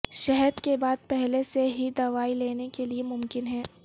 شہد کے بعد پہلے سے ہی دوائی لینے کے لئے ممکن ہے